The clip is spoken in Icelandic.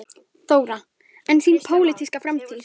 Þóra: En þín pólitíska framtíð?